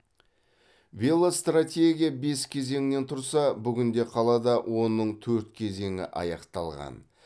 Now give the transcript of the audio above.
велостратегия бес кезеңнен тұрса бүгінде қалада оның төрт кезеңі аяқталған